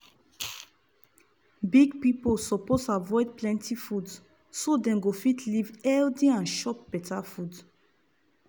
big pipiu suppose avoid plenty food so dem go fit live healthy and chop better food.